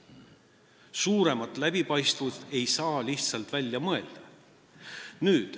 Suuremat läbipaistvust ei saa lihtsalt välja mõelda.